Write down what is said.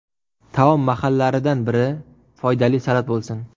Taom mahallaridan biri foydali salat bo‘lsin.